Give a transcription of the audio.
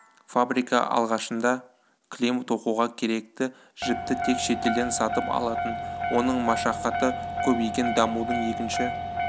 фабрика алғашында кілем тоқуға керекті жіпті тек шетелден сатып алатын оның машақаты көп екен дамудың екінші